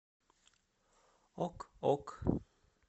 ок ок